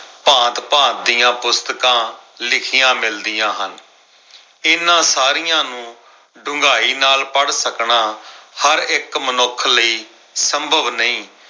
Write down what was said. ਭਾਂਤ-ਭਾਂਤ ਦੀਆਂ ਪੁਸਤਕਾਂ ਲਿਖੀਆਂ ਮਿਲਦੀਆਂ ਹਨ। ਇਨ੍ਹਾਂ ਸਾਰੀਆਂ ਨੂੰ ਡੂੰਘਾਈ ਨਾਲ ਪੜ੍ਹ ਸਕਣਾ, ਹਰ ਇੱਕ ਮਨੁੱਖ ਲਈ ਸੰਭਵ ਨਈ।